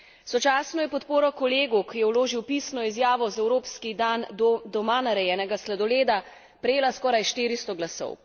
Sočasno je podpora kolegu, ki je vložil pisno izjavo za evropski dan doma narejenega sladoleda, prejela skoraj 400 glasov.